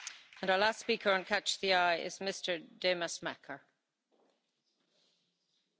De NAVO en de Europese Unie blijven de twee hoekstenen van de Europese veiligheidsarchitectuur.